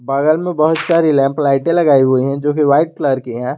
बगल में बहुत सारी लैंप लाइटें लगाई हुई है जो की वाइट कलर की है।